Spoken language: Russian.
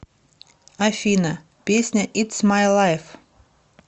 афина песня итс май лайв